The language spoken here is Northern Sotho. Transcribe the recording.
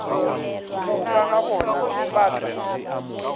moka ga bona ba tla